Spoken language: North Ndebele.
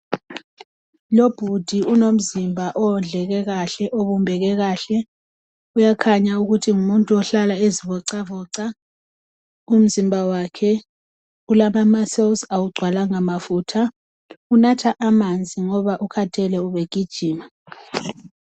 Lo bhudi unomzimba owondleke kahle obumbeke kahle kuyakhanya ukuthi ngumuntu ohlala ezivocavoca umzimba wakhe ulama maselizi awugcwalamga mafutha. unatha amanzi ngoba ukhathele ubegijima.